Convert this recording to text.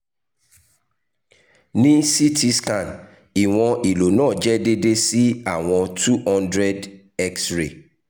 ni ct scan iwọn ìlò naa jẹ deede si awọn two hundred x-ray